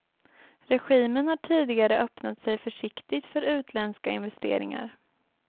Regimen har tidigare öppnat sig försiktigt för utländska investeringar.